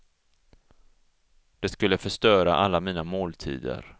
Det skulle förstöra alla mina måltider.